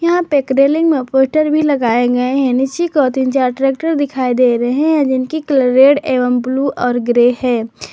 यहां पे एक रेलिंग में पोस्टर भी लगाए गए हैं नीचे की ओर तीन चार ट्रैक्टर दिखाई दे रहे है जिनकी कलर रेड एवं ब्लू और ग्रे है।